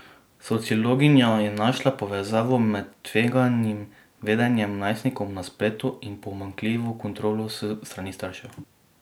Sociologinja je našla povezavo med tveganim vedenjem najstnikov na spletu in pomanjkljivo kontrolo s strani staršev.